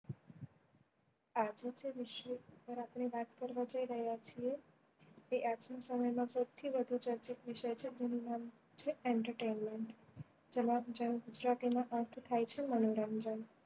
આજ ના જે વિષય પર આપડે વાત કરવા જઈ રહ્યા છીએ તે આજ ના સમય માં સૌથી વધુ ચર્ચિત વિષય છે તેનું નામ છે entertainment જેનો ગુજરાતી માં અર્થ થાય છે મનોરંજન